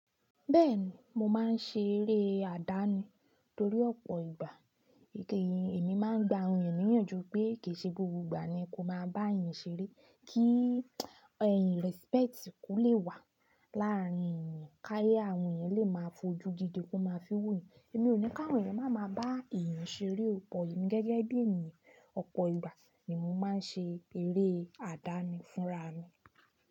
Bẹ́ẹ̀ni, mo máa ń ṣe eré àdáni torí ọ̀pọ̀ ìgbà. Gẹ́gẹ́ èmi máa ń gba àwọn ènìyàn níyànjú pé kìí ṣe gbogbo ìgbà ni kó máa bá èèyàn ṣeré. Kí ẹ̀in respect kò lè wà láàárín èèyàn, káyé àwọn èèyàn lè máa fojú gidi kó máa fi wo yín. Emi ò ní ká àwọn ènìyàn máa máa bá èèyàn ṣeré. Òpọ̀ yìí gẹ́gẹ́ bí èmi, ọ̀pọ̀ ìgbà ni mo máa ń ṣe eré àdáni fún ra mi.